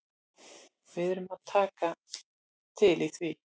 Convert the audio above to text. Við erum að taka til í því.